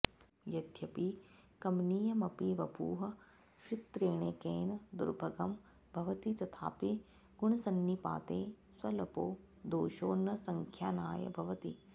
यद्यपि कमनीयमपि वपुः श्वित्रेणैकेन दुर्भगं भवति तथापि गुणसन्निपाते स्वल्पो दोषो न सङ्ख्यानाय भवति